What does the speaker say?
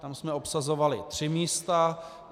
Tam jsme obsazovali tři místa.